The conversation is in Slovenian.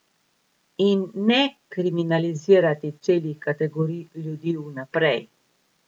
In ne kriminalizirati celih kategorij ljudi vnaprej.